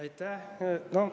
Aitäh!